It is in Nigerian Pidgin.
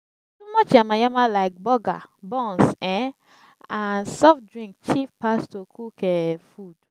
too much yama yama lyk burger buns um nd soft drink cheap pass to cook um food